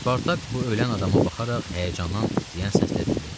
Spartak bu ölən adama baxaraq həyəcandan titrəyən səslə dedi.